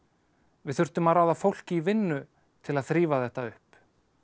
við þurfum að ráða fólk í vinnu til að þrífa þetta upp